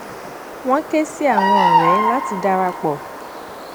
wọn ké sí àwọn ọrẹ láti dara pọ